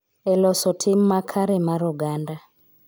E loso tim makare mar oganda.